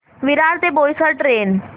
विरार ते बोईसर ट्रेन